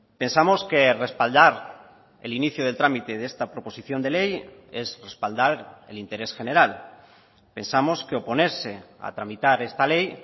pensamos que respaldar el inicio del trámite de esta proposición de ley es respaldar el interés general pensamos que oponerse a tramitar esta ley